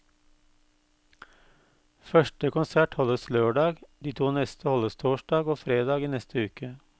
Første konsert holdes lørdag, de to neste holdes torsdag og fredag i neste uke.